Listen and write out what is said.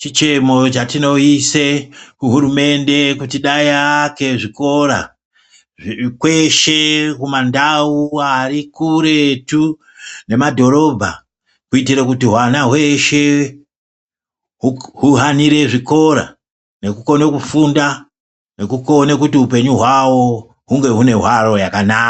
Chicheno chatinoise kuhurumende kuti dai aake zvikora kweshe kumandau ari kuretu nemadhorobha kuitire kuti hwana hweshe huhanire zvikora nekukone kufunda nekukone kuti upenyu hwavo hunge hune hwaro yakanaka.